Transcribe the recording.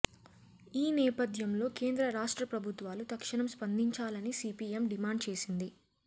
ఈ నేపధ్యంలో కేంద్ర రాష్ట్ర ప్రభుత్వాలు తక్షణం స్పందించాలని సిపిఎం డిమాండ్చేసింది